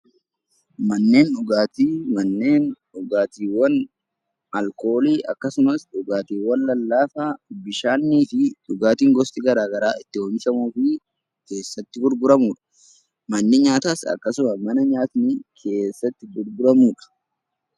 Manneen dhugaatii, manneen dhugaatiiwwan alkoolii akkasumas dhugaatiiwwan lallaafaa bishaanii fi dhugaatiin gosni garaagaraa itti oomishamu fi itti gurguramudhaa. Manni nyaataas akkasuma mana nyaanni keessatti gurguramudha.